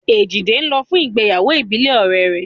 Èjìdé ń lọ fún ìgbéyàwó ìbílẹ̀ ọ̀rẹ́ rẹ̀